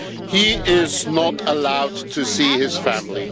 He is not allowed to see his family.